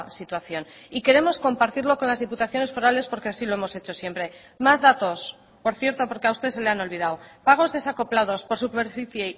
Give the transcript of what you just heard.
situación y queremos compartirlo con las diputaciones forales porque así lo hemos hecho siempre más datos por cierto porque a usted se le han olvidado pagos desacoplados por superficie